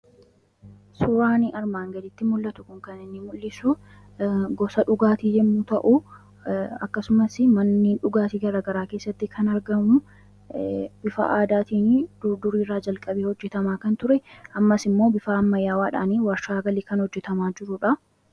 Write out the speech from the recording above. suuraan armaan gaditti mul'atu kun kan inni mul'isu gosa dhugaatii yommuu ta'u ;akkasumas manniin dhugaatii garagaraa keessatti kan argamu bifaa aadaatii durduriiraa jalqabee hojjetamaa kan ture ammaas immoo bifaa ammayaawaadhaan warshaa galii kan hojjetamaa jiruudha.